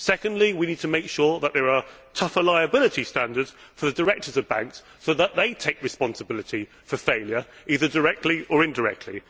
Secondly, we need to make sure that there are tougher liability standards for the directors of banks, so that they take responsibility for failure either directly or indirectly.